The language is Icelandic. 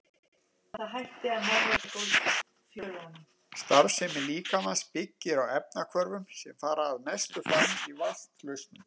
Starfsemi líkamans byggir á efnahvörfum sem fara að mestu fram í vatnslausn.